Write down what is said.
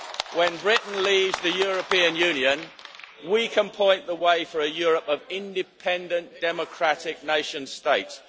When Britain leaves the European Union, we can point the way for a Europe of independent democratic nation states.